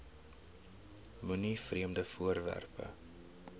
moenie vreemde voorwerpe